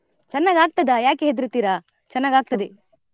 ಚನ್ನಾಗಾಗ್ತದಾ ಯಾಕೆ ಹೇದ್ರತೀರಾ ಚನ್ನಾಗಾಗ್ತದೆ.